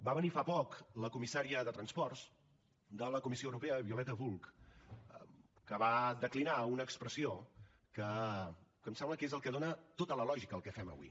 va venir fa poc la comissària de transports de la comissió europea violeta bulc que va declinar una expressió que em sembla que és el que dona tota la lògica al que fem avui